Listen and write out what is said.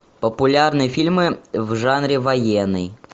популярные фильмы в жанре военный